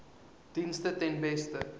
dienste ten beste